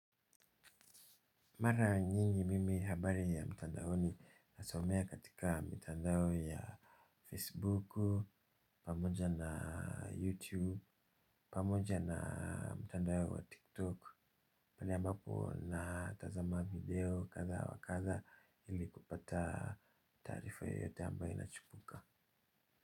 Mara nyingi mimi habari ya mtandaoni nasomea katika mitandao ya Facebook, pamoja na YouTube, pamoja na mtandao wa TikTok, pala ambapo natazama video kadha wa kadha ili kupata tarifa yote ambayo inachupuka.